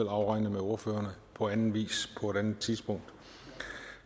afregne med ordførerne på anden vis på et andet tidspunkt